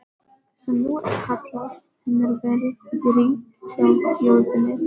sem nú er kallað- hefur verið rík hjá þjóðinni.